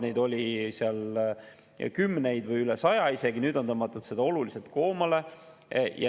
Neid oli kümneid või isegi üle saja, nüüd on tõmmatud seda oluliselt koomale.